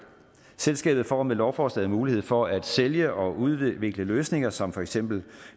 selskabet får med lovforslaget mulighed for at sælge og udvikle løsninger som for eksempel